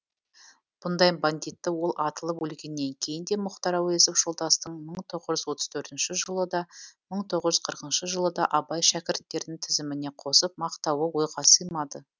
бұндай бандитті ол атылып өлгеннен кейін де мұхтар әуезов жолдастың мың тоғыз жүз отыз төртінші жылы да мың тоғыз жүз қырқыншы жылы да абай шәкірттерінің тізіміне қосып мақтауы ойға сыймады